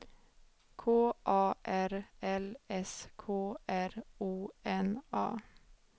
K A R L S K R O N A